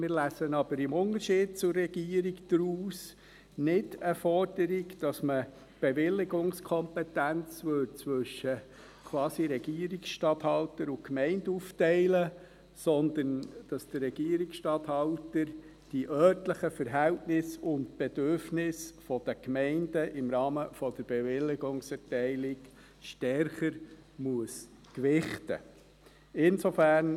Wir lesen aber im Unterschied zur Regierung daraus nicht eine Forderung, wonach man die Bewilligungskompetenz quasi zwischen Regierungsstatthalter und Gemeinde aufteilen würde, sondern dass der Regierungsstatthalter die örtlichen Verhältnisse und Bedürfnisse der Gemeinden im Rahmen der Bewilligungserteilung stärker gewichten muss.